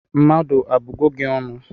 Mmadu abugo gi ọnụ?